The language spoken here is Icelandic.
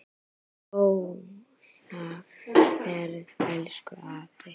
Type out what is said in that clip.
Góða ferð, elsku afi.